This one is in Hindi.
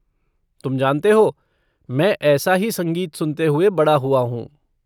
तुम जानते हो, मैं ऐसा ही संगीत सुनते हुआ बड़ा हुआ हूँ।